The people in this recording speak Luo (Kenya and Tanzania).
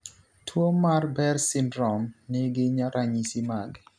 Tuo mar Behr syndrome ni gi ranyisi mage?